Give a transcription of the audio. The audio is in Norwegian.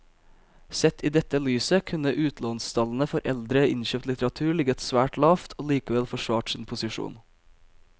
Sett i dette lyset kunne utlånstallene for eldre innkjøpt litteratur ligget svært lavt og likevel forsvart sin posisjon.